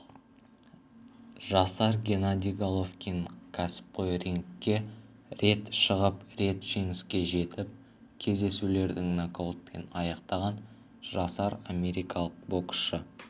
жасар геннадий головкин кәсіпқой рингке рет шығып рет жеңіске жетіп кездесулердің нокаутпен аяқтаған жасар америкалық боксшы